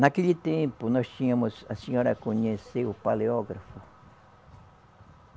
Naquele tempo, nós tínhamos a senhora conheceu o paleógrafo?